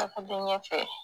Tagade ɲɛfɛ